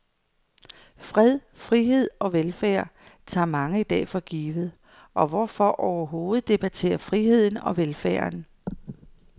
Fred, frihed og velfærd tager mange i dag for givet, og hvorfor overhovedet debattere friheden og velfærden?